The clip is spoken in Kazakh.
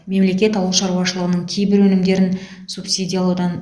мемлекет ауыл шаруашылығының кейбір өнімдерін субсидиялаудан